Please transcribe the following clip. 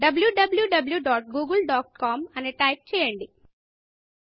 wwwgooglecom అని type చేయండి